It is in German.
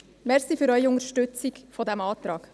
Ich danke für Ihre Unterstützung dieses Antrags.